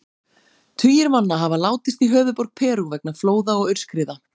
Tugir manna hafa látist í höfuðborg Perú vegna flóða og aurskriða.